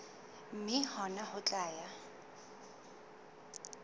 mme hona ho tla ya